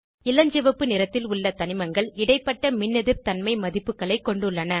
இளஞ்சிவப்பு நிறத்தில் உள்ள தனிமங்கள் இடைப்பட்ட மின்னெதிர்தன்மை மதிப்புகளை கொண்டுள்ளன